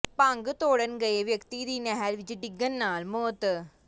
ਭੰਗ ਤੋੜਨ ਗਏ ਵਿਅਕਤੀ ਦੀ ਨਹਿਰ ਵਿੱਚ ਡਿੱਗਣ ਨਾਲ ਮੌਤ